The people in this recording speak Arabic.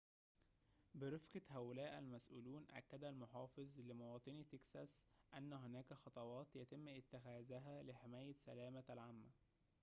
برفقة هؤلاء المسؤولون أكد المحافظ لمواطني تكساس أنّ هناك خطوات يتمّ اتّخاذها لحماية سلامة العامة